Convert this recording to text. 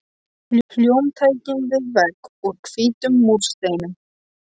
Hljómtækin við vegg úr hvítum múrsteinum.